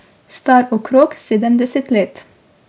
Star okrog sedemdeset let.